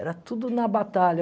Era tudo na batalha.